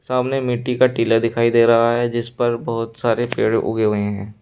सामने मिट्टी का टीला दिखाई दे रहा है जिस पर बहोत सारे पेड़ उगे हुए हैं।